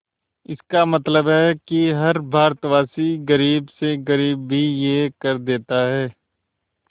इसका मतलब है कि हर भारतवासी गरीब से गरीब भी यह कर देता है